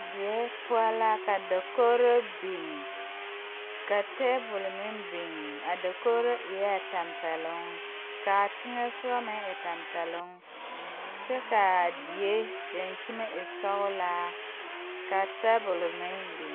Die poɔ la ka dakogro biŋ ka tabol meŋ biŋ a dakogro eɛɛ tampɛloŋ kaa teŋɛsugɔ meŋ e tampɛloŋ kyɛ kaa die daŋkyime e sɔglaa ka tabol meŋ biŋ.